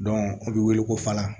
o bɛ wele ko falan